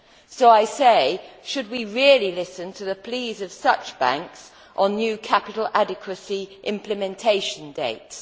So I say should we really listen to the pleas of such banks on new capital adequacy implementation dates?